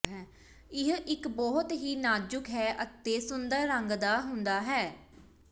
ਇਹ ਇੱਕ ਬਹੁਤ ਹੀ ਨਾਜ਼ੁਕ ਹੈ ਅਤੇ ਸੁੰਦਰ ਰੰਗ ਦਾ ਹੁੰਦਾ ਹੈ